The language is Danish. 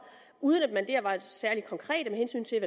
uden at man dér var særlig konkret med hensyn til